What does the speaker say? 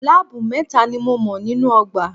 Láábù mẹ́ta ni mo mọ̀ nínú ọgbà.